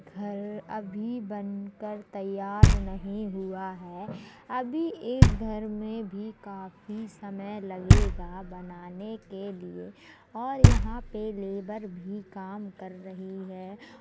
घर अभी बनकर तैयार नहीं हुआ है। अभी इस घर मे भी काफी समय लगेगा बनाने के लिए और यहाँ पे लेबर भी काम रही है।